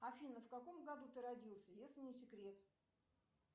афина в каком году ты родился если не секрет